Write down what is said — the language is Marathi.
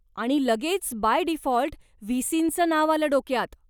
आणि लगेच बाय डिफॉल्ट व्ही.सीं.च नाव आलं डोक्यात.